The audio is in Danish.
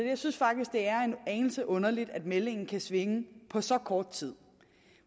jeg synes faktisk det er en anelse underligt at meldingen kan svinge på så kort tid